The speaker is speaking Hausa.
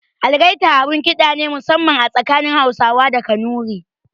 Algaita abun ƙida ne musamman a tsakanin Hausawa da Kanuri.